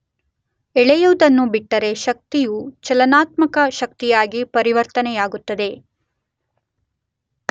ಎಳೆಯುವುದನ್ನು ಬಿಟ್ಟರೆ ಶಕ್ತಿಯು ಚಲನಾತ್ಮಕ ಶಕ್ತಿಯಾಗಿ ಪರಿವರ್ತನೆಯಾಗುತ್ತದೆ.